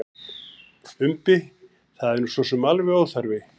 Umbi: Það er nú sosum alveg óþarfi.